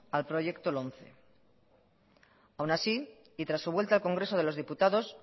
al proyecto lomce aún así y tras su vuelta al congreso de los diputados